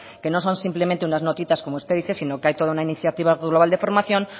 que no son simplemente unas notitas como usted dice sino que hay toda una iniciativa global de formación